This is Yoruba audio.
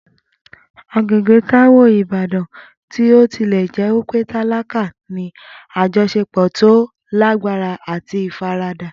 Agbègbè Taiwo ìbàdàn, bí ó tilẹ̀ jẹ́ pé tálákà, ní àjọṣepọ̀ tó lágbára àti ìfaradà.